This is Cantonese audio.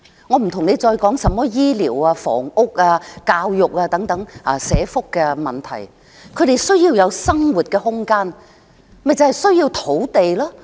我暫且不說醫療、房屋、教育等社福問題，他們需要有生活空間，就是需要土地。